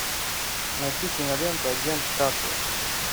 найти киноленту агент картер